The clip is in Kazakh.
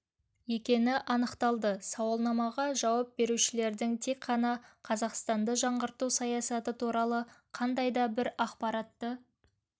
екені анықталды сауалнамаға жауап берушілердің тек ғана қазақстанды жаңғырту саясаты туралы қандай да бір ақпаратты